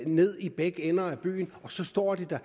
ned i begge ender i byen og så står det der